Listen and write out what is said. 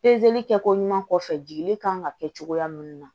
kɛ ko ɲuman kɔfɛ jiginni kan ka kɛ cogoya minnu na